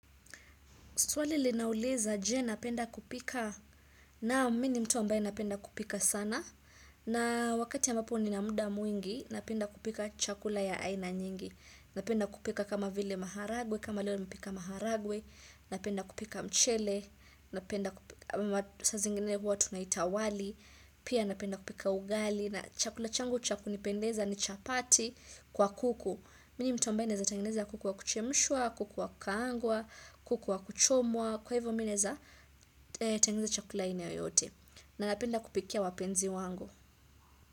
Swali linauliza je napenda kupika naam mi ni mtu ambaye napenda kupika sana na wakati ambapo nina mda mwingi napenda kupika chakula ya aina nyingi. Napenda kupika kama vile maharagwe, kama leo nimepika maharagwe, napenda kupika mchele, napenda kupi, saa zingine hua tunaita wali, pia napenda kupika ugali, na chakula changu cha kunipendeza ni chapati kwa kuku. Mini mtu ambaye naeza tengeneza kuku wa kuchemshwa, kuku wa kukaangwa, kuku wa kuchomwa, kwa hivyo mi naeza tengeneza chakula aina yoyote. Na napenda kupikia wapenzi wangu.